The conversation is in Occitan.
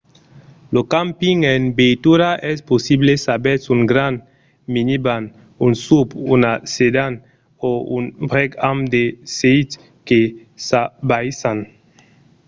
lo camping en veitura es possible s'avètz un grand minivan un suv una sedan o un brèc amb de sètis que s'abaissan